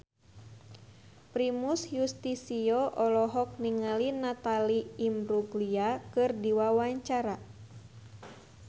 Primus Yustisio olohok ningali Natalie Imbruglia keur diwawancara